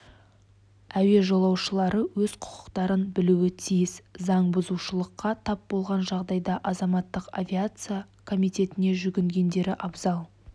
әуе жолаушылары өз құқықтарын білуі тиіс заң бұзушылыққа тап болған жағдайда азаматтық авиация комитетіне жүгінгендері абзал